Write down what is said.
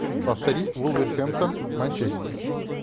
повтори вулверхэмптон манчестер